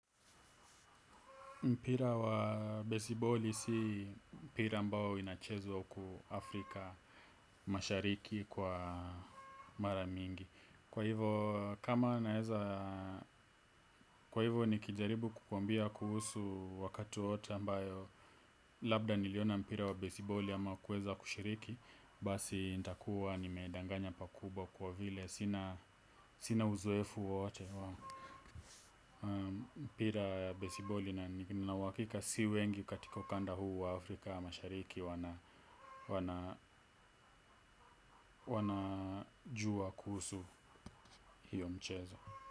Mpira wa besiboli si mpira ambao inachezwa huku Afrika mashariki kwa mara mingi. Kwa hivo kama naeza, kwa hivo nikijaribu kukwambia kuhusu wakati wowote ambayo, labda niliona mpira wa besiboli ama kueza kushiriki, basi nita kuwa nimeedanganya pakubwa kwa vile, sina uzkefu wowote. Pira ya besiboli nina uahakika si wengi katika ukanda huu wa Afrika mashariki. Wana jua kuhusu hiyo mchezo.